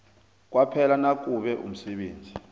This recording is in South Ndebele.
kwaphela nakube umsebenzi